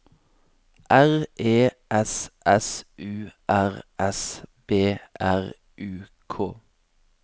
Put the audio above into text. R E S S U R S B R U K